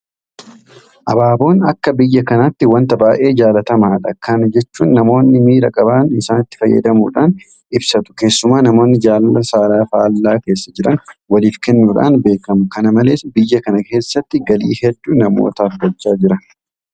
Abaaboon akka biyya kanaatti waanta baay'ee jaalatamaadha. Kana jechuun namoonni miira qaban isatti fayyadamuudhaan ibsatu. Keessumaa namoonni jaalala saala faallaa keessa jiran waliif kennuudhaan beekamu. Kana malees biyya kana keessatti galii hedduu namootaaf galchaa jira.